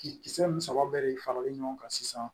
Kisɛ kisɛ ni saba bɛɛ de faralen ɲɔgɔn kan sisan